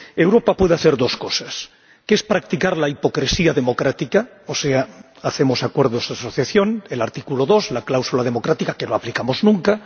Europa puede hacer dos cosas una, que es practicar la hipocresía democrática —o sea, hacemos acuerdos de asociación, el artículo 2, la cláusula democrática que no aplicamos nunca—